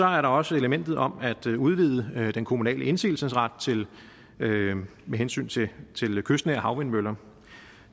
er der også elementet om at udvide den kommunale indsigelsesret til med hensyn til kystnære havvindmøller